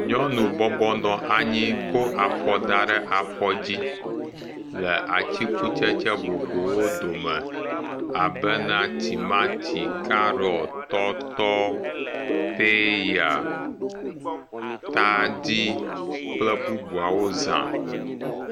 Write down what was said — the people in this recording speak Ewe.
Nyɔnu bɔbɔnɔ anyi kɔ afɔ da ɖe afɔ dzi le atikutsetse vovovowo dome abena timati, carrot, tɔtɔ, peya, tadi kple bubuawo zã.